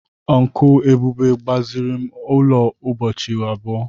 Uncle Ebube gbaziri ụlọ ụbọchị abụọ.